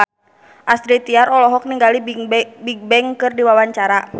Astrid Tiar olohok ningali Bigbang keur diwawancara